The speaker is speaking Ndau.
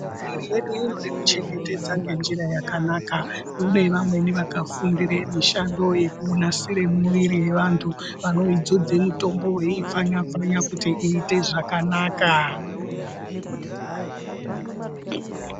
Nyika yedu inode kuchengetedza ngenjira yakanaka. Kune vamweni vakafundire mishando yekunasire mwiviri yevantu vanodzodze mitombo veipfanya-pfanya kuti iite zvakanaka.